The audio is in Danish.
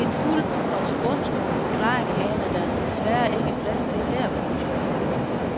En fuld og tilbundsgående forklaring haner der desværre ikke plads til her. punktum